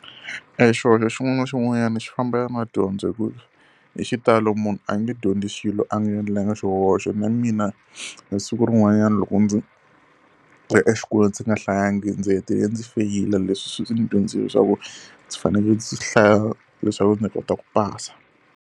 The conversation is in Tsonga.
E xihoxo xin'wana na xin'wanyana xi fambelana ya na dyondzo hikuva hi xitalo munhu a nge dyondzi xilo a nga endlanga xihoxo. Na mina e siku rin'wanyana loko ndzi ri exikolweni ndzi nga hlayangi ndzi hetelele ndzi feyila. Leswi swi ndzi dyondzisile leswaku ndzi fanele ndzi hlaya leswaku ndzi kota ku pasa.